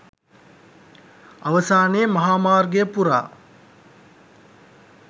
අවසානයේ මහා මාර්ගය පුරා